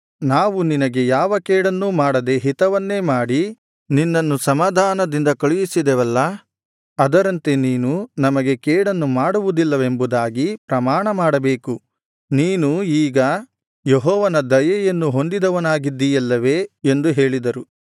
ನಾವು ನಿನಗೆ ಯಾವ ಕೇಡನ್ನೂ ಮಾಡದೆ ಹಿತವನ್ನೇ ಮಾಡಿ ನಿನ್ನನ್ನು ಸಮಾಧಾನದಿಂದ ಕಳುಹಿಸಿದೆವಲ್ಲಾ ಅದರಂತೆ ನೀನು ನಮಗೆ ಕೇಡನ್ನು ಮಾಡುವುದಿಲ್ಲವೆಂಬುದಾಗಿ ಪ್ರಮಾಣಮಾಡಬೇಕು ನೀನು ಈಗ ಯೆಹೋವನ ದಯೆಯನ್ನು ಹೊಂದಿದವನಾಗಿದ್ದೀಯಲ್ಲವೇ ಎಂದು ಹೇಳಿದರು